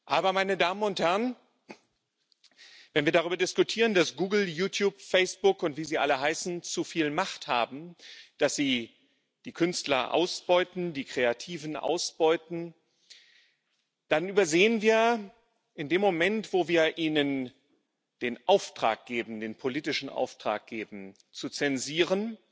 Aber, meine Damen und Herren, wenn wir darüber diskutieren, dass Google, YouTube, Facebook und wie sie alle heißen zu viel Macht haben, dass sie die Künstler ausbeuten, die Kreativen ausbeuten, dann übersehen wir in dem Moment, wo wir ihnen den politischen Auftrag geben, zu zensieren,